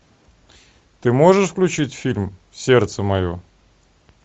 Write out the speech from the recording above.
ты можешь включить фильм сердце мое